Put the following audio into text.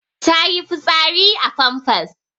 Ta yi fitsari a famfas.